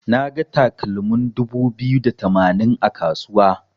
Naga takalmin dubu biyu da tamanin a kasuwa.